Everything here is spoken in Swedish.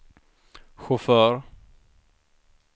chaufför